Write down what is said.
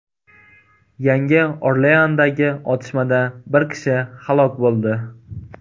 Yangi Orleandagi otishmada bir kishi halok bo‘ldi.